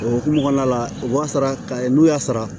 O hukumu kɔnɔna la u b'a sara ka n'u y'a sara